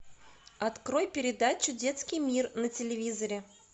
открой передачу детский мир на телевизоре